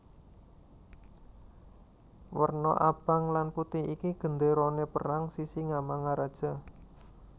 Werna abang lan putih iki gendérané perang Sisingamangaraja